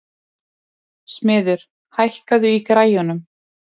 Smiður, hækkaðu í græjunum.